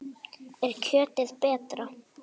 Er kjötið betra?